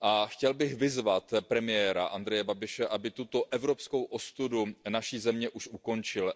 Chtěl bych vyzvat premiéra Andreje Babiše, aby tuto evropskou ostudu naší země už ukončil.